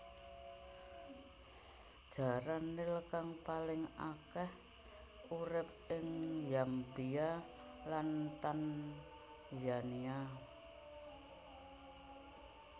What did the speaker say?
Jaran nil kang paling akèh urip ing Zambia lan Tanzania